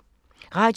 Radio 4